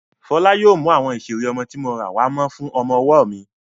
Fọlá yóò mú àwọn ìseré ọmọ tí mo rà wàá Mo fún ọmọ-ọwọ́ mi